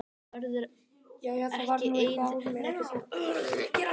Hún verður ekki ein þegar ég útskrifast.